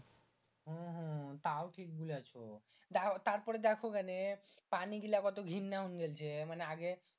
তাও ঠিক বুলেছো তারপরে দেখো কেনে পানি গুলা কত ঘিন্না গেলছে মানে আগে